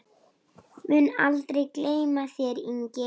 Mun aldrei gleyma þér, Ingi.